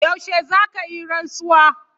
Yaushe za ka yi rantsuwa?